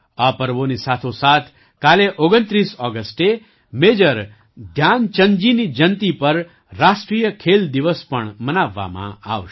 આપર્વોની સાથોસાથ કાલે ૨૯ ઑગસ્ટે મેજર ધ્યાનચંદજીની જયંતી પર રાષ્ટ્રીય ખેલ દિવસ પણ મનાવવામાં આવશે